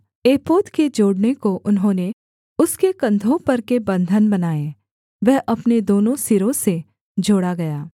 एपोद के जोड़ने को उन्होंने उसके कंधों पर के बन्धन बनाए वह अपने दोनों सिरों से जोड़ा गया